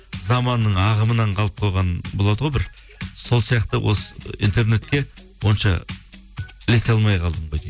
заманның ағымынан қалып қойған болады ғой бір сол сияқты осы интернетке онша ілесе алмай қалдым ғой деймін